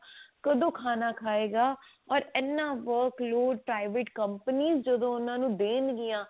ਕਦੋਂ ਖਾਣਾ ਖਾਏਗਾ ਓਰ ਇੰਨਾ work load private companies ਜਦੋਂ ਉਹਨਾਂ ਨੂੰ ਦੇਣਗੀਆਂ